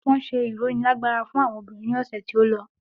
Wọn ṣe ironilagbara fún àwọn obìnrin ní ọ̀sẹ̀ tí ó lọ.